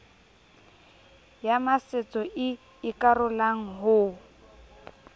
ya masetso e ikarolang ho